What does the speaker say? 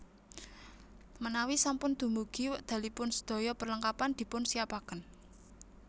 Menawi sampun dumugi wekdalipun sedaya perlengkapan dipun siapaken